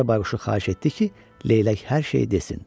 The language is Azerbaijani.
Gecə bayquşu xahiş etdi ki, leylək hər şeyi desin.